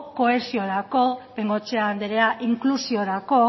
kohesiorako bengoechea andrea inklusiorako